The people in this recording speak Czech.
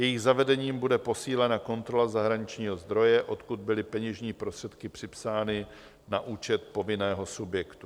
Jejich zavedením bude posílena kontrola zahraničního zdroje, odkud byly peněžní prostředky připsány na účet povinného subjektu.